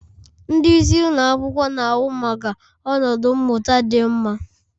Ndị isi ụlọ akwụkwọ na-ahụ maka ọnọdụ mmụta dị mma